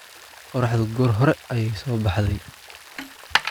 Qorraxdu goor hore ayay soo baxday